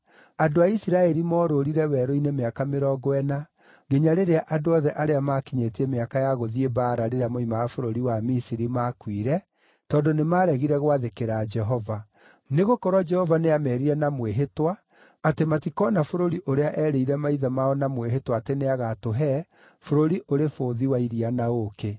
Andũ a Isiraeli moorũũrire werũ-inĩ mĩaka mĩrongo ĩna nginya rĩrĩa andũ othe arĩa maakinyĩtie mĩaka ya gũthiĩ mbaara rĩrĩa moimaga bũrũri wa Misiri maakuire, tondũ nĩmaregire gwathĩkĩra Jehova. Nĩgũkorwo Jehova nĩameerire na mwĩhĩtwa atĩ matikoona bũrũri ũrĩa eerĩire maithe mao na mwĩhĩtwa atĩ nĩagatũhe, bũrũri ũrĩ bũthi wa iria na ũũkĩ.